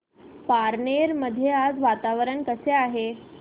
पारनेर मध्ये आज वातावरण कसे आहे